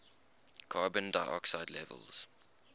carbon dioxide levels